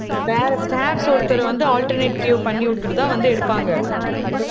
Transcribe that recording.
வேற staffs ஒருத்தர் வந்து, alternative பண்ணி விட்டுட்டுதான் வந்து எடுப்பாங்க.